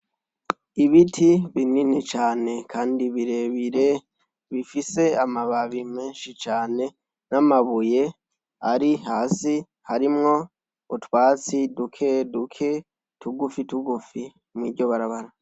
Ibiti binini cane kandi birebire bifise amababi menshi cane n'amabuye ari hasi harimwo utwatsi duke duke tugufi tugufi mw'iryo barabara.